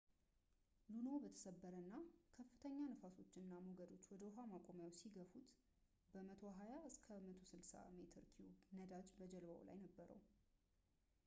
ሉኖው በተሰበረ እና ከፍተኛ ንፋሶች እና ሞገዶች ወደ ውሃ ማቆሚያው ሲገፉት ከ120-160 ሜትር ኪዩብ ነዳጅ በጀልባው ላይ ነበረው